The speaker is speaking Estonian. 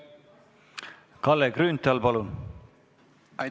Kalle Grünthal, palun!